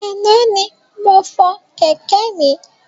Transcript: Ana ni mo fọ Kẹ̀kẹ́ mi